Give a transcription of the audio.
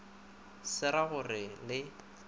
se ra go re le